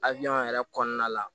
Abiɲɛn yɛrɛ kɔnɔna la